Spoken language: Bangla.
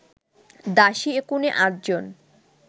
দাসী একুনে আটজন